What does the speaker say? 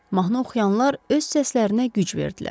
Mahnı oxuyanlar öz səslərinə güc verdilər.